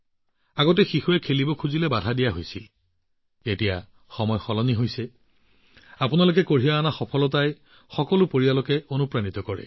আগতে যেতিয়া এটি শিশু খেলিবলৈ গৈছিল তেতিয়া তেওঁলোকে বন্ধ কৰি দিছিল আৰু এতিয়া বহুত সলনি হৈছে আৰু আপোনালোকে যি সফলতা লাভ কৰি আহিছে সেই সফলতাই সকলো পৰিয়ালকে প্ৰেৰণা দিয়ে